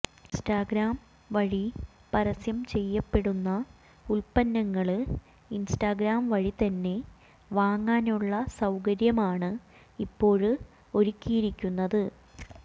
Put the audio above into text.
Instagram വഴി പരസ്യം ചെയ്യപ്പെടുന്ന ഉല്പ്പന്നങ്ങള് ഇന്സ്റ്റാഗ്രാം വഴി തന്നെ വാങ്ങാനുള്ള സൌകര്യമാണ് ഇപ്പോള് ഒരുക്കിയിരിക്കുന്നത്